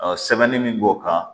sɛbɛnni min b'o kan